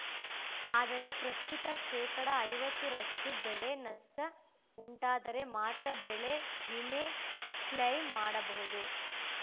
ಆದರೆ ಪ್ರಸ್ತುತ ಶೇಕಡಾ ಐವತ್ತರಷ್ಟು ಬೆಳೆ ನಷ್ಟಉಂಟಾದರೆ ಮಾತ್ರ ಬೆಳೆ ವಿಮೆ ಕ್ಲೇಮು ಮಾಡಬಹುದು